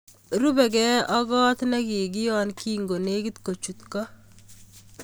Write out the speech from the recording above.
Rube gee ak kot na kikion ki ngo nekit kochut ko